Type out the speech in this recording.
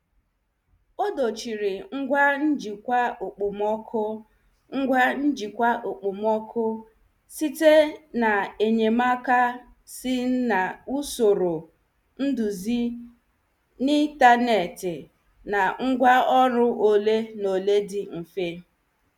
Ọ dochiri ngwa njikwa okpomọkụ ngwa njikwa okpomọkụ site na enyemaka si n' usoro nduzi n' intaneti na ngwa ọrụ ole na ole dị mfe.